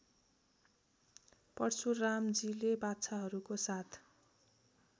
परशुरामजीले बाछाहरूको साथ